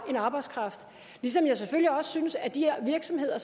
arbejdskraft ligesom jeg selvfølgelig også synes at de her virksomheder